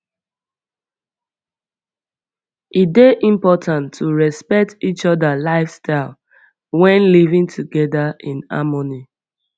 e dey important to respect each other lifestyle when living together in harmony